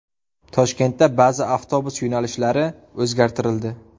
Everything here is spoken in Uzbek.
Toshkentda ba’zi avtobus yo‘nalishlari o‘zgartirildi.